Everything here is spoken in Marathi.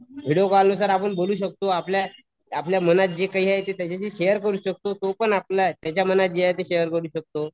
व्हिडीओ कॉल नुसार आपण बोलू शकतो आपल्या आपल्या मनात जे काही आहे ते त्याच्याशी शेअर करू शकतो. तो पण आपला आहे त्याच्या मनात जे आहे ते शेअर करू शकतो.